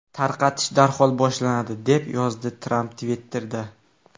Tarqatish darhol boshlanadi”, – deb yozdi Tramp Twitter’da.